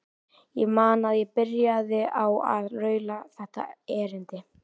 Ég man að ég byrjaði á að raula þetta erindi